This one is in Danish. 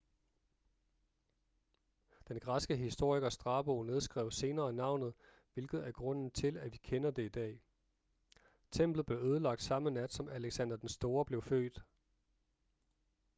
den græske historiker strabo nedskrev senere navnet hvilket er grunden til at vi kender det i dag templet blev ødelagt samme nat som alexander den store blev født